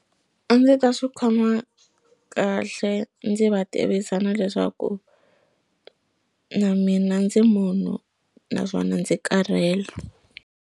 A ndzi ta swi khoma kahle ndzi va tivisa na leswaku na mina ndzi munhu naswona ndzi karhele.